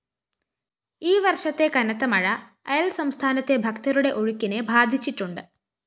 ഈവര്‍ഷത്തെ കനത്തമഴ അയല്‍സംസ്ഥനത്തെ ഭക്തരുടെ ഒഴുക്കിനെ ബാധിച്ചിട്ടുണ്ട്